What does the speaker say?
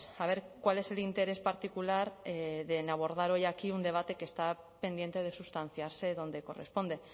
a ver cuál es el interés particular en abordar hoy aquí un debate que está pendiente de sustanciarse donde corresponde